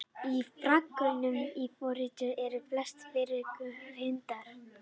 Í frásögnum í Forystufé eru flestar forystukindurnar hyrndar.